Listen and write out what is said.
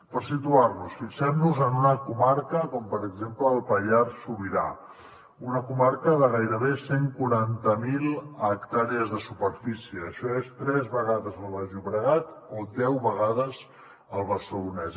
per situar nos fixem nos en una comarca com per exemple el pallars sobirà una comarca de gairebé cent i quaranta miler hectàrees de superfície això és tres vegades el baix llobregat o deu vegades el barcelonès